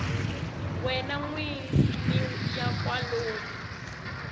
wena n wini ya kwalomu